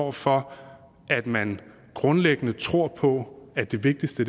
og for at man grundlæggende tror på at det vigtigste